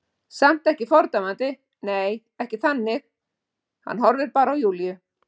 Samt ekki fordæmandi, nei, ekki þannig, hann horfir bara á Júlíu.